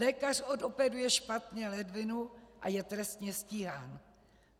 Lékař odoperuje špatně ledvinu a je trestně stíhán.